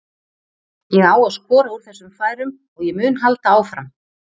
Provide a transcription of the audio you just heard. Ég á að skora úr þessum færum og ég mun halda áfram.